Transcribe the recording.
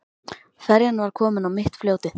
Ferjan var komin á mitt fljótið.